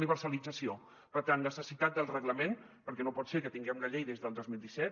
universalització per tant necessitat del reglament perquè no pot ser que tinguem la llei des del dos mil disset